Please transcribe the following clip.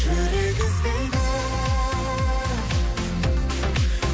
жүрек іздейді